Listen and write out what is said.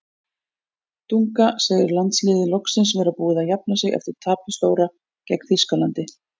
Dunga segir landsliðið loksins vera búið að jafna sig eftir tapið stóra gegn Þýskalandi.